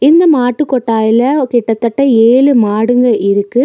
இந்த மாட்டு கொட்டாய்ல கிட்டத்தட்ட ஏழு மாடுங்க இருக்கு.